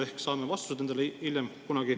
Ehk saame vastused nendele kunagi hiljem.